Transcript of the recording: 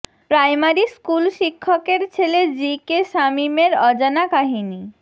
primary school শিক্ষকের ছেলে G K শামীমের অজানা কাহিনী